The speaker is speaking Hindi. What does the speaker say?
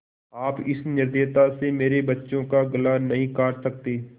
आप इस निर्दयता से मेरे बच्चों का गला नहीं काट सकते